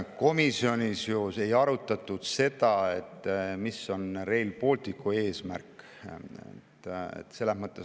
Komisjonis ei arutatud seda, mis on Rail Balticu eesmärk.